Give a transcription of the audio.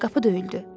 Qapı döyüldü.